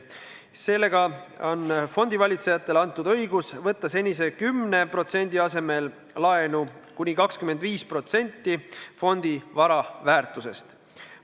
Sellega on fondivalitsejatele antud õigus võtta senise 10% asemel laenu kuni 25% fondi vara väärtusest.